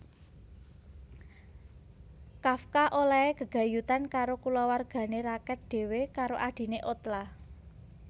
Kafka olèhé gegayutan karo kulawargané raket dhéwé karo adhiné Ottla